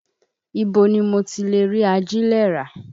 Ibo ni mo ti lè rí àjílè rà?